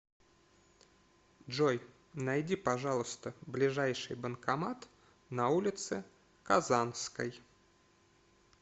джой найди пожалуйста ближайший банкомат на улице казанской